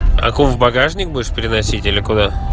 аку в багажник будешь переносить или куда